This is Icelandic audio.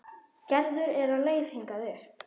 Gerður er á leið hingað upp.